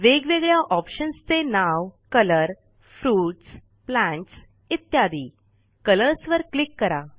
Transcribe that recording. वेगवेगळया Optionsचे नाव कलर fruits plants इ Colors वर क्लिक करा